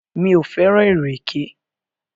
Mi ò fẹ́ràn ìrèké.